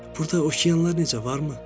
Burda okeanlar necə, varmı?